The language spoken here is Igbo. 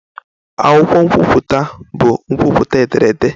Akwụkwọ nkwupụta bụ nkwupụta ederede.